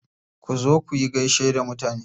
Ku zo kuyi gaishe da mutane.